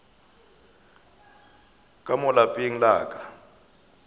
ka mo lapeng la ka